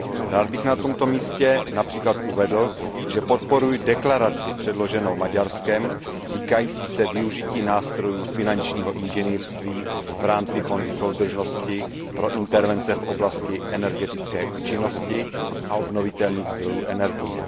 Rád bych na tomto místě uvedl, že podporuji deklaraci předloženou Maďarskem týkající se využití nástrojů finančního inženýrství v rámci Fondu soudržnosti pro intervence v oblasti energetické účinnosti a obnovitelných zdrojů energie.